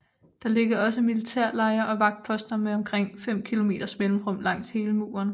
Der ligger også militærlejre og vagtposter med omkring 5 kilometers mellemrum langs hele muren